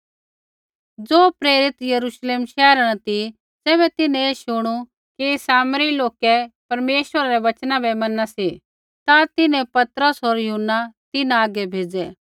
ज़ो प्रेरित यरूश्लेम शैहरा न ती ज़ैबै तिन्हैं ऐ शुणू कि सामरी लोकै परमेश्वरै रै वचना बै मैना सी ता तिन्हैं पतरस होर यूहन्ना तिन्हां हागै भेज़ै